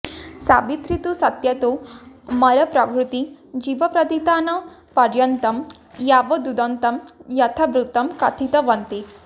सावित्री तु सत्यातो मरणप्रभृति जीवप्रतिदानपर्यन्तं यावदुदन्तं यथावृत्तं कथितवती